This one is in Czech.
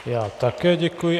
Já také děkuji.